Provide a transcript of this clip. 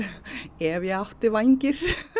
ef ég ætti vængi